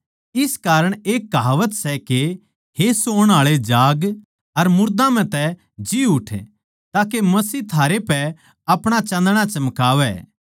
इस कारण एक कहावत सै के हे सोण आळे जाग अर मुर्दां म्ह तै जी उठ ताके मसीह थारे पै अपणा चान्दणा चमकावै